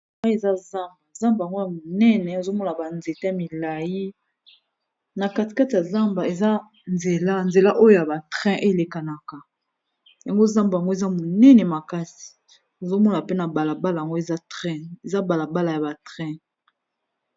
Eza zamba, zamba yango ya monene ozo mona ba nzete milayi na kati kati ya zamba eza nzela oyo ya ba train elekanaka. Yango zamba yango eza monene makasi, ozo mona pe na bala bala yango eza train eza bala bala ya ba train.